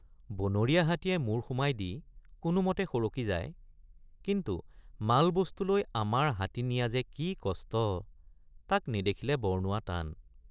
বনৰীয়া হাতীয়ে মূৰ সুমাই দি কোনোমতে সৰকি যায় কিন্তু মালবস্তু লৈ আমাৰ হাতী নিয়া যে কি কষ্ট তাক নেদেখিলে বৰ্ণোৱা টান।